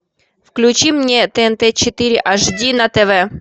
включи мне тнт четыре аш ди на тв